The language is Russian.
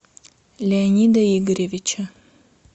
леонида игоревича